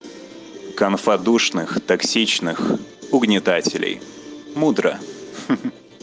конфа душных токсичных угнетателей мудро ха ха